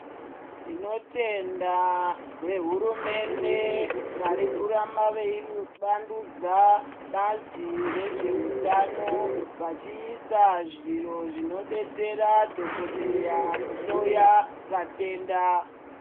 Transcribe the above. Tinotenda vehurumende varikuramba veivandudza bazi rezveutano, vachiisa zviro zvinodetsera dhogodheya kuhloya vatenda.